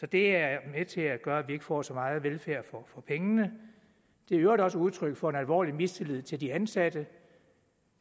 det er med til at gøre at vi ikke får så meget velfærd for pengene det er i øvrigt også udtryk for en alvorlig mistillid til de ansatte